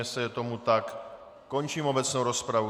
Jestli je tomu tak, končím obecnou rozpravu.